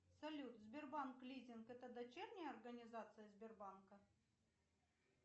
салют сбербанк лизинг это дочерняя организация сбербанка